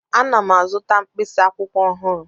Ana m azụta mkpịsị akwụkwọ ọhụrụ.